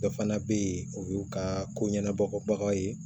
Dɔ fana bɛ yen o y'u ka ko ɲanabɔbagaw ye